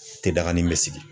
Te dagani bɛ sigi.